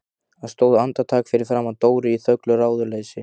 Hún stóð andartak fyrir framan Dóru í þöglu ráðleysi.